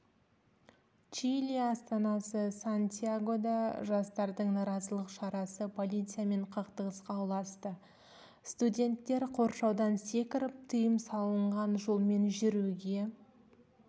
чили астанасы сантьягода жастардың наразылық шарасы полициямен қақтығысқа ұласты студенттер қоршаудан секіріп тыйым салынған жолмен жүруге